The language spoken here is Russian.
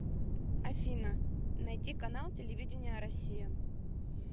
афина найти канал телевидения россия